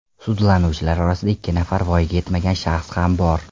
Sudlanuvchilar orasida ikki nafar voyaga yetmagan shaxs ham bor.